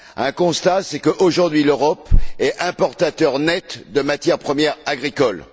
Le constat, c'est qu'aujourd'hui, l'Europe est un importateur net de matières premières agricoles.